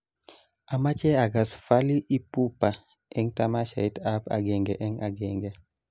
Amache agas Fally Ipupa eng tamashait ab agenge eng agenge